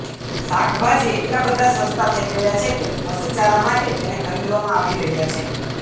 શાકભાજી એટલા બધા સસ્તા થઈ ગયા છે કે પશુચારા માટે તેને ખરીદવામાં આવી રહ્યા છે